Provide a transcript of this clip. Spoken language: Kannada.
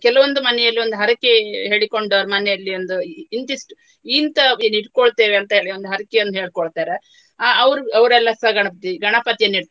ಕೆಲವೊಂದು ಮನೆಯಲ್ಲಿ ಒಂದು ಹರಕೆ ಹೇಳಿಕೊಂಡವರ ಮನೆಯಲ್ಲಿ ಒಂದು ಇಂತಿಷ್ಟು ಇಂತವೇನಿಟ್ಕೋಳ್ತೇವಂತಲೇ ಒಂದು ಹರಕೆಯನ್ನು ಹೇಳ್ಕೊಳ್ತಾರೆ. ಅಹ್ ಅವ್ರು ಅವರೆಲ್ಲಸ ಗಣಪತಿ ಗಣಪತಿಯನ್ನು ಇಡ್ತಾರೆ.